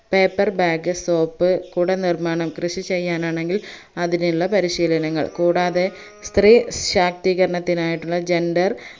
paper bag soap കുട നിർമാണം കൃഷി ചെയ്യാനാണെങ്കിൽ അതിനുള്ള പരിശീലനങ്ങൾ കൂടാതെ സ്ത്രീ ശാക്തീകരത്തിനായിട്ടുള്ള gender